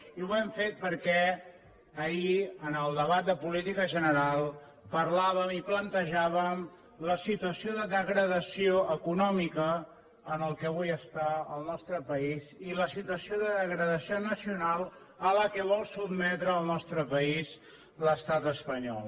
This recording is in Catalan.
i ho hem fet perquè ahir en el debat de política general parlàvem i plantejàvem la situació de degradació econòmica en la qual avui està el nostre país i la situació de degradació nacional a la qual vol sotmetre el nostre país l’estat espanyol